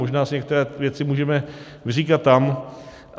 Možná si některé věci můžeme vyříkat tam.